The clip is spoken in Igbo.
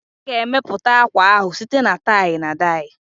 A ga-emepụta akwa ahụ site na tie-na-die